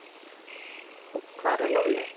Og hvar er Lúlli?